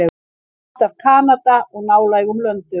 Kort af Kanada og nálægum löndum.